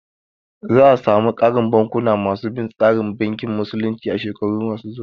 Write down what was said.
Za a samu ƙarin bankuna ma su bin tsarin bankin musulunci a shekaru ma su zuwa